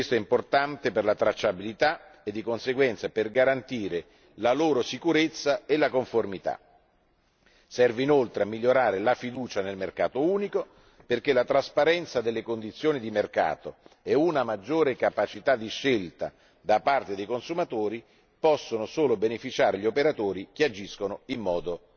Questo è importante per la tracciabilità e, di conseguenza, per garantire sicurezza e conformità dei prodotti. Serve inoltre a migliorare la fiducia nel mercato unico, perché la trasparenza delle condizioni di mercato e una maggiore capacità di scelta da parte dei consumatori possono solo beneficiare agli operatori che agiscono in